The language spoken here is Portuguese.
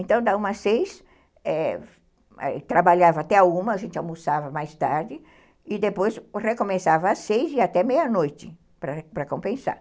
Então, da uma às seis, é, trabalhava até uma, a gente almoçava mais tarde, e depois recomeçava às seis e até meia-noite, para compensar.